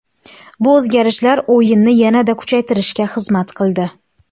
Bu o‘zgarishlar o‘yinni yanada kuchaytirishga xizmat qildi.